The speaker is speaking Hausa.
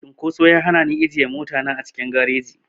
Cunkoso ya hana ni ajiye mota na a cikin gareji.